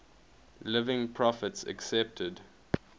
living prophets accepted